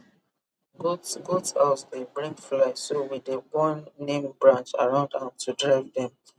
goat goat house dey bring fly so we dey burn neem branch around am to drive dem